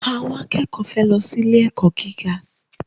Àwọn akẹ́kọ̀ọ́ fẹ́ lọ sí ilé-ẹ̀kọ́ gíga.